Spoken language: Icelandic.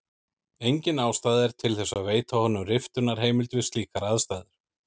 Engin ástæða er til þess að veita honum riftunarheimild við slíkar aðstæður.